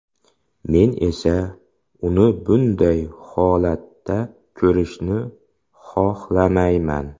Men esa uni bunday holatda ko‘rishni xohlamayman.